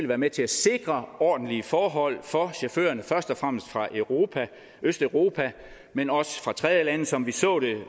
være med til at sikre ordentlige forhold for chaufførerne først og fremmest fra østeuropa men også fra tredjelande som vi så det